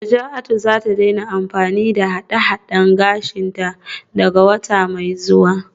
Najatu za ta daina amfani da haɗe-haɗe a gashinta daga wata mai zuwa